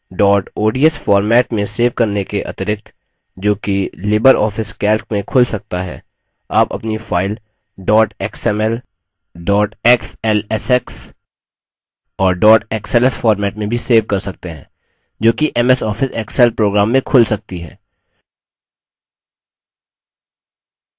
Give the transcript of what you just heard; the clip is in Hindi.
dot odsफॉर्मेट में सेव करने के अतिरिक्त जो कि लिबर office calc में खुल सकता है आप अपनी file dot xml dot xlsx और dot xls format में भी सेव कर सकते हैं जो कि ms office excel program में खुल सकती है